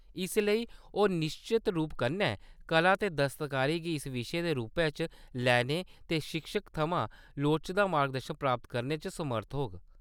इसलेई, ओह्‌‌ निश्चत रूप कन्नै कला ते दस्तकारी गी इक विशे दे रूपै च लैने ते शिक्षक थमां लोड़चदा मार्गदर्शन प्राप्त करने च समर्थ होग।